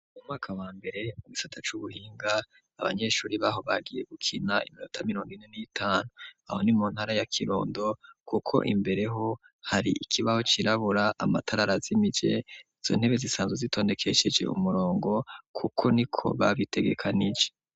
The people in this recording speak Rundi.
Mu mwaka wa mbere igisata c'ubuhinga abanyeshuri baho bagiye gukina iminota mirongine n'itanu aho ni mu ntara ya kirundo kuko imbere ho hari ikibaho cirabura amatara azimije , izo ntebe zisanzwe zitondekesheje umurongo kuko niko babitegekanije.